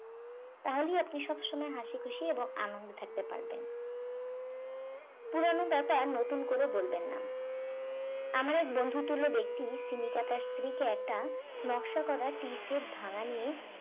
তাহলে আপনি সবসময় হাসিখুশি এবং আনন্দে থাকতে পারবেন পুরানো ব্যাপার নতুন করে বলবেন না আমার এক বন্ধুতুল্য ব্যক্তি তিনি তার স্ত্রীকে একটা নকশা করা tea set ভাঙ্গা নিয়ে